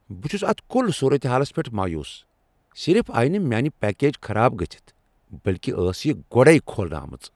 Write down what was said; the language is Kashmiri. بہٕ چھٗس اتھ کُل صورتحالس پیٹھ مایوس۔ صرف آیہ نہٕ میانہِ پیکج خراب گژھِتھ، بلكہِ ٲس یہ گۄڈٕےكھولنہٕ آمٕژ ۔